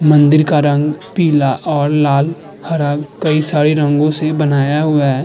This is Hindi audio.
मंदिर का रंग पीला और लाल हरा कई सारे रंगों से बनाया हुआ है।